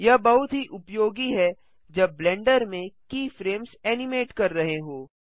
यह बहुत ही उपयोगी है जब ब्लेंडर में कीफ्रेम्स एनिमेट कर रहे हों